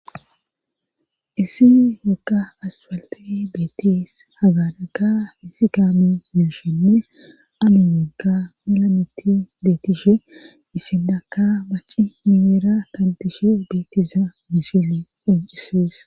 isi woga aspalte beettes hagadaka isi kaame mushenne amuyegga malameti beetishe isidaka waci mimeera kantishe beettiza misile oncisees